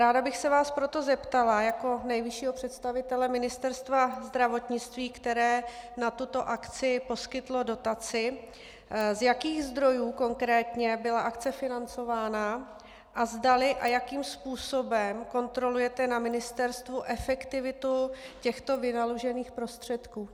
Ráda bych se vás proto zeptala jako nejvyššího představitele Ministerstva zdravotnictví, které na tuto akci poskytlo dotaci, z jakých zdrojů konkrétně byla akce financována a zdali a jakým způsobem kontrolujete na ministerstvu efektivitu těchto vynaložených prostředků.